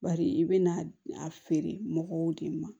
Bari i bɛna a feere mɔgɔw de ma